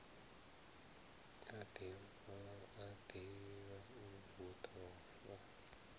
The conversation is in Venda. a ḓivha hu ḓo fa